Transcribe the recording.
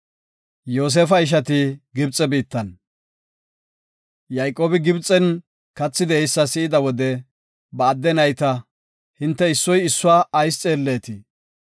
Yayqoobi Gibxen kathi de7eysa si7ida wode ba adde nayta, “Hinte issoy issuwa ayis xeelleetii?